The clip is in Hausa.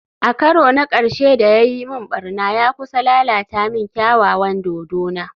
A karo na karshe da ya yi min barna, ya kusa lalata min kyawawan dodona